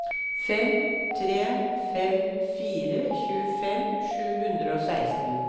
fem tre fem fire tjuefem sju hundre og seksten